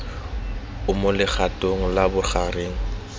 o mo legatong la bogareng